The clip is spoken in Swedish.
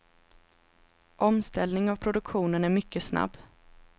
Omställning av produktionen är mycket snabb.